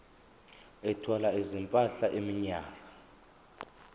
ethwala izimpahla iminyaka